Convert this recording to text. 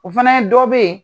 O fana ye dɔ bɛ yen